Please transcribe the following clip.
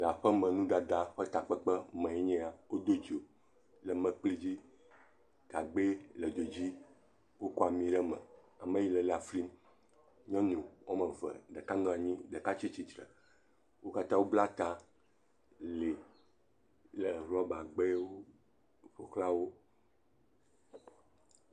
Aƒeme nuɖaɖa ƒe takpkpe me enye ya, odo dzo, gagbɛ le dzo dzi wokɔ ami ɖe eme, ame yi le lã flim, nyɔnu wome eve, ɖeka nɔ nyi, ɖeka tsi tsitsre, wo katã wobla ta li le rɔbagb0wo ƒo xlã wo.